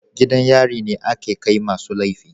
gidan yari ne ake Kai ma su laifi.